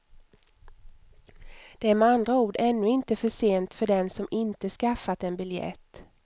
Det är med andra ord ännu inte försent för den som inte skaffat en biljett.